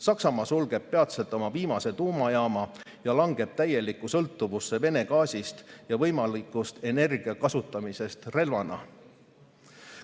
Saksamaa sulgeb peatselt oma viimase tuumajaama ja langeb täielikku sõltuvusse Vene gaasist ja energia võimalikust kasutamisest relvana.